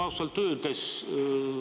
Aitäh!